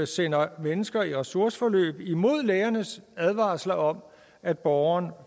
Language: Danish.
sender mennesker i ressourceforløb imod lærernes advarsler om at borgerne